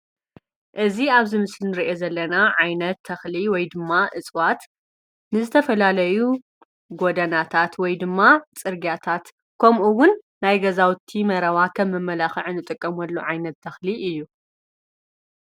እዚ ኣብ እዚ ምስሊ እንሪኦ ዘለና ዓይነት ተክሊ ወይ ድማ እፅዋት ብዝተፈላለዩ ጎደናታት ወይ ድማ ፅርግያታት ከምኡ እውን ናይ ገዛውቲ መረባ ከም መመላኸዒ እንጥቀመሉ ዓይነት ተክሊ እዩ።